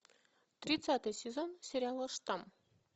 тридцатый сезон сериала штамм